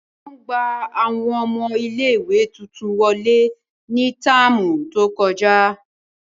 Wọn gba awọn ọmọ ìlé-ìwé tuntun wọle ni táámu to kọja.